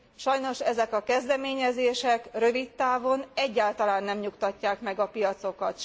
Sajnos ezek a kezdeményezések rövid távon egyáltalán nem nyugtatják meg a piacokat.